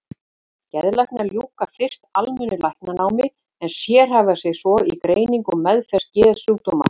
Geðlæknar ljúka fyrst almennu læknanámi en sérhæfa sig svo í greiningu og meðferð geðsjúkdóma.